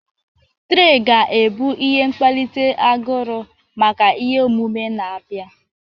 Traị ga-ebu ihe mkpalite aguru maka ihe omume na-abịa.